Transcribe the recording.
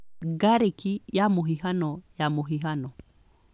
Ngarĩki ya mũhihano ya mũhihano